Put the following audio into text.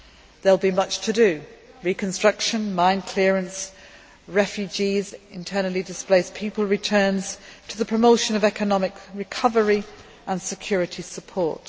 There will be much to do reconstruction, mine clearance, refugees, internally displaced people returns, and the promotion of economic recovery and security support.